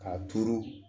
K'a turu